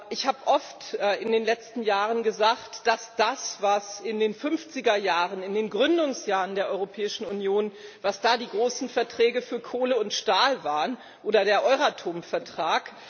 Ich habe oft in den letzten Jahren gesagt, dass uns das leiten muss, was in den fünfziger Jahren, in den Gründungsjahren der Europäischen Union, die großen Verträge für Kohle und Stahl waren oder der Euratom Vertrag.